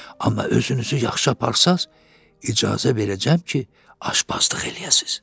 Amma özünüzü yaxşı aparsaız, icazə verəcəm ki, aşbazlıq eləyəsiniz.